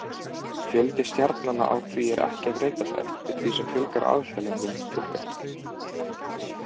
Fjöldi stjarnanna á því ekki að breytast eftir því sem aðildarlöndum fjölgar.